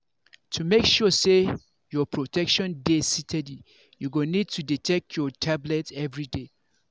to make sure say your protection dey steady you go need to dey take your tablet everyday.